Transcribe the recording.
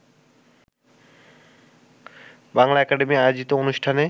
Bangla academy আয়োজিত অনুষ্ঠানে